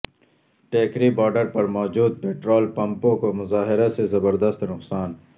Tikri border پر موجود petrol پمپوں کو مظاہرہ سے زبردست نقصان